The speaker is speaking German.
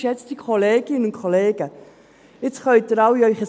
Jetzt können Sie alle Ihr Handy hervornehmen.